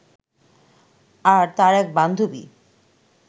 আর তার এক বান্ধবী